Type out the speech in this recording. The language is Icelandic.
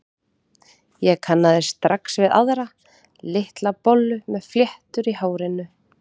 Ég kannaðist strax við aðra, litla bollu með fléttur í hárinu.